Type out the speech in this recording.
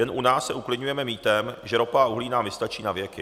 Jen u nás se uklidňujeme mýtem, že ropa a uhlí nám vystačí na věky.